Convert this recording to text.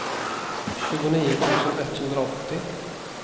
tjugonio tusen etthundraåttio